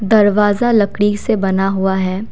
दरवाजा लकड़ी से बना हुआ है।